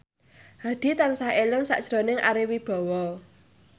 Hadi tansah eling sakjroning Ari Wibowo